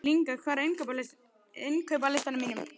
Lyngar, hvað er á innkaupalistanum mínum?